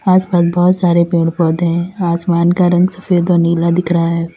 आस पास बहुत सारे पेड़ पौधे है आसमान का रंग सफेद और नीला दिख रहा है।